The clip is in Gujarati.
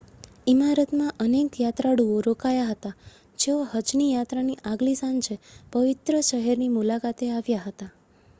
ઇમારતમાં અનેક યાત્રાળુઓ રોકાયાં હતાં જેઓ હજની યાત્રાની આગલી સાંજે પવિત્ર શહેરની મુલાકાતે આવ્યાં હતાં